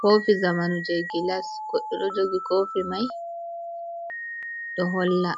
Kofi zamanu je gilas, goɗɗo ɗo jogi kofi mai ɗo holla